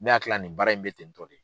Ne hakili la nin baara in bɛ ten tɔ de.